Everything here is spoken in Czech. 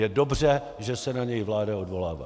Je dobře, že se na něj vláda odvolává.